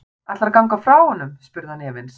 Ætlarðu að ganga frá honum? spurði hann efins.